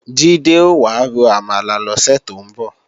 Jídé ò wá ro àmàlà lọ́sẹ̀ tó ń bọ̀